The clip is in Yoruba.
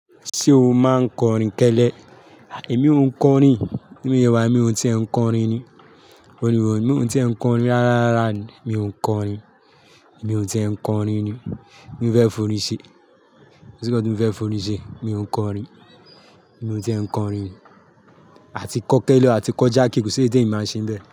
Ṣé o máa ń kọrin kẹ́lẹ́? Èmi ò ń kọrin. Bí mo ṣe wà yì mi ò tíe ń kọrin ni. Orin wò, mi ò tíe ń kọrin rárá rárá ni. Mi ò ń kọrin. Èmi ò tíì ń kọrin ni. Kín mo fẹ́ forín ṣe. Kò sí nǹkan tí mo fẹ́ forín ṣe? Mi ò ń kọrin. Èmi ò tíe ń kọrin. A ti kọ́ kẹ́lẹ́ a ti kọ́ jàke, kò sí ẹ̀yí tí èmi máa ń ṣe ń bẹ̀